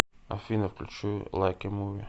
афина включи лайк э муви